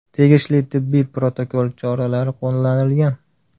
Tegishli tibbiy protokol choralari qo‘llanilgan.